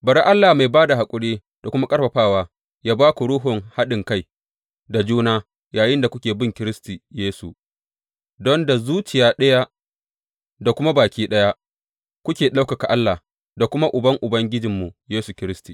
Bari Allah mai ba da haƙuri da kuma ƙarfafawa yă ba ku ruhun haɗinkai da juna yayinda kuke bin Kiristi Yesu, don da zuciya ɗaya da kuma baki ɗaya kuke ɗaukaka Allah da kuma Uban Ubangijinmu Yesu Kiristi.